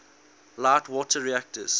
light water reactors